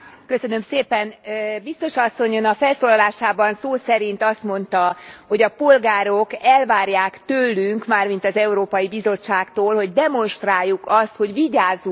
Biztos asszony! Ön a felszólalásában szó szerint azt mondta, hogy a polgárok elvárják tőlünk, mármint az Európai Bizottságtól, hogy demonstráljuk azt, hogy vigyázunk a pénzükre.